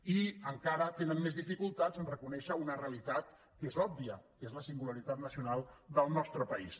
i encara tenen més dificultats a reconèixer una realitat que és òbvia que és la singularitat nacional del nostre país